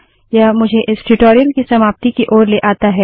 यह मुझे इस ट्यूटोरियल की समाप्ति की ओर लाता है